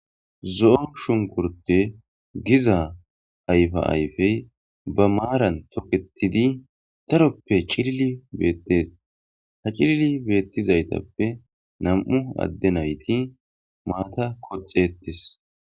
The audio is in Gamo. Zo,o shunkurte giza ayfa ayfey ba maaran toketidi daroppe cilili beettes ha cilili beettizaytappe nam,u adde nayti maata koxetes.